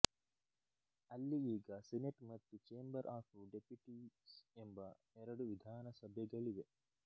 ಅಲ್ಲಿ ಈಗ ಸೆನೆಟ್ ಮತ್ತು ಚೇಂಬರ್ ಆಫ್ ಡೆಪ್ಯುಟೀಸ್ ಎಂಬ ಎರಡು ವಿಧಾನಸಭೆಗಳಿವೆ